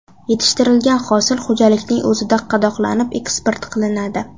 Yetishtirilgan hosil xo‘jalikning o‘zida qadoqlanib, eksport qilinadi.